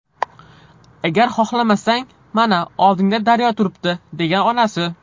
Agar xohlamasang, mana, oldingda daryo turibdi”, degan onasi.